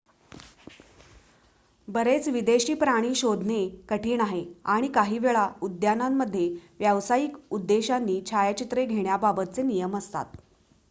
बरेच विदेशी प्राणी शोधणे कठीण आहे आणि काहीवेळा उद्यानांमध्ये व्यावसायिक उद्देशांनी छायाचित्रे घेण्याबाबतचे नियम असतात